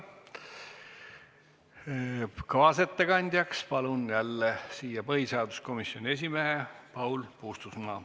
Kaasettekandeks palun jälle kõnetooli põhiseaduskomisjoni esimehe Paul Puustusmaa.